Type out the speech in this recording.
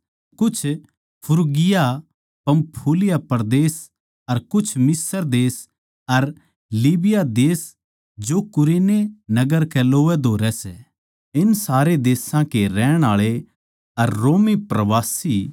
कुछ Phrygia Pamphylia परदेस अर कुछ मिस्र देश अर लीबिया देश जो कुरेने नगर कै लोवैधोरै सै इन सारे देशां के रहण आळे अर रोमी प्रवासी